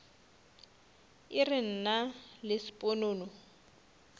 e re nna le sponono